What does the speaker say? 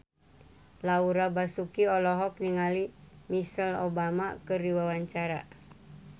Laura Basuki olohok ningali Michelle Obama keur diwawancara